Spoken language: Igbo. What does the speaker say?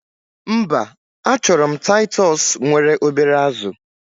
Mba, achorom titus nwere obere azu